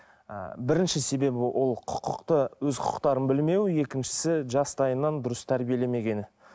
і бірінші себебі ол құқықты өз құқықтарын білмеу екіншісі жастайынан дұрыс тәрбилемегені